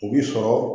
U b'i sɔrɔ